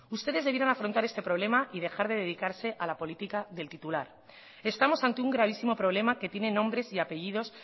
ustedes debieron afrontar este problema y dejar de dedicarse a la política del titular estamos ante un gravísimo problema que tiene nombres y apellidos